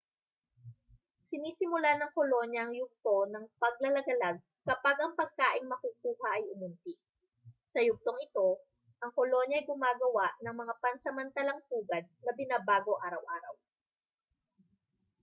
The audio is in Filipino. sinisimulan ng kolonya ang yugto ng paglalagalag kapag ang pagkaing makukuha ay umunti sa yugtong ito ang kolonya ay gumagawa ng mga pansamantalang pugad na binabago araw-araw